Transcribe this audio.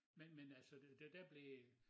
Men men altså det der blev